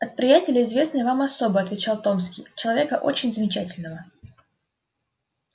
от приятеля известной вам особы отвечал томский человека очень замечательного